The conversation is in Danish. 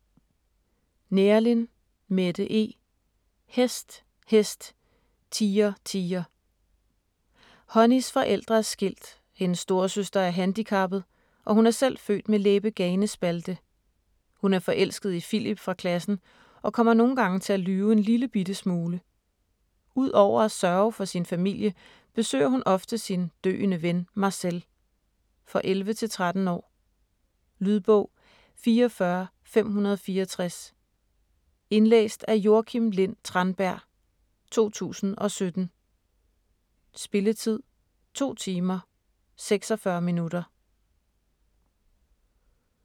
Neerlin, Mette E.: Hest, hest, tiger, tiger Honeys forældre er skilt, hendes storesøster er handicappet, og hun er selv født med læbeganespalte. Hun er forelsket i Philip fra klassen og kommer nogle gange til at lyve en lille bitte smule. Ud over at sørge for sin familie, besøger hun ofte sin døende ven, Marcel. For 11-13 år. Lydbog 44564 Indlæst af Joakim Lind Tranberg, 2017. Spilletid: 2 timer, 46 minutter.